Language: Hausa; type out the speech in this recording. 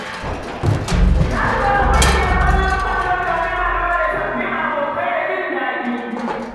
Na shiga wata ƙungiyar ƙwallon kwando domin haɗuwa da sabbin abokai da jin daɗi.